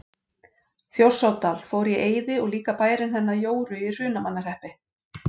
Þjórsárdal fór í eyði og líka bærinn hennar Jóru í Hrunamannahreppi.